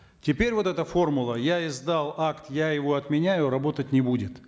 теперь вот эта формула я издал акт я его отменяю работать не будет